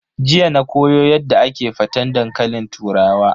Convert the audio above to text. Jiya na koyo Yadda ake faten dankalin turawa.